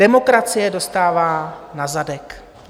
Demokracie dostává na zadek.